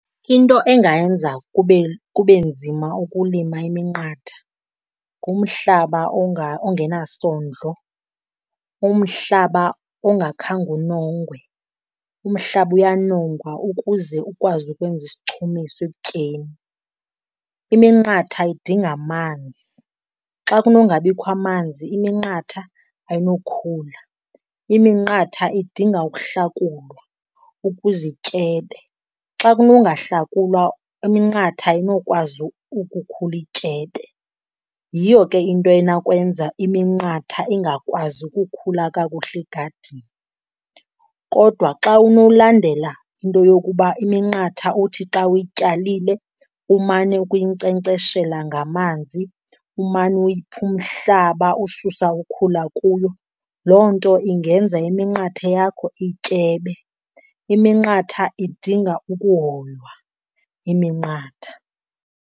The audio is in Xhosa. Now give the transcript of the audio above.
Into engayenza kube, kube nzima ukulima iminqatha ngumhlaba ongenasondlo, umhlaba ongakhange unongwe. Umhlaba uyanongwa ukuze ukwazi ukwenza isichumiso ekutyeni. Iminqatha idinga amanzi, xa kunongabikho amanzi iminqatha ayinokhula. Iminqatha idinga ukuhlakulwa ukuze ityebe, xa kunongahlakulwa iminqatha ayinokwazi ukukhula ityebe. Yiyo ke into enawukwenza iminqatha ingakwazi ukukhula kakuhle egadini. Kodwa xa unolandela into yokuba iminqatha uthi xa uyityalile umane ukuyinkcenkceshela ngamanzi, umane uyipha umhlaba, ususa ukhula kuyo, loo nto ingenza iminqathe yakho ityebe. Iminqatha idinga ukuhoywa, iminqatha.